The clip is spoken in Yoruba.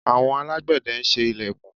Àwon alágbẹ̀de n se ilẹ̀kùn